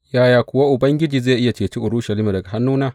Yaya kuwa Ubangiji zai iya ceci Urushalima daga hannuna?